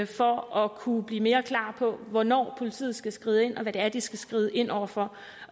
for at kunne blive mere klare på hvornår politiet skal skride ind og hvad det er de skal skride ind over for